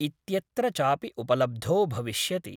इत्यत्र चापि उपलब्धो भविष्यति।